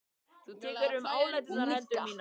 Þú tekur um áleitnar hendur mínar.